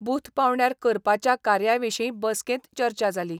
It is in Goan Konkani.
बूथ पांवड्यार करपाच्या कार्या विशीं बसकेंत चर्चा जाली.